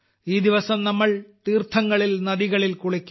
ഈ ദിവസം നമ്മൾ തീർത്ഥങ്ങളിൽ നദികളിൽ കുളിക്കും